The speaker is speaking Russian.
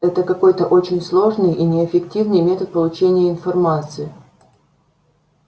это какой-то очень сложный и неэффективный метод получения информации